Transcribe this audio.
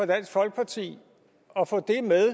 dansk folkeparti at få